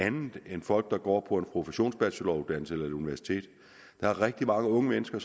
andet end folk der går på en professionsbacheloruddannelse eller på et universitet der er rigtig mange unge mennesker